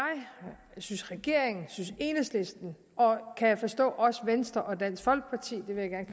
synes regeringen synes enhedslisten og kan jeg forstå også venstre og dansk folkeparti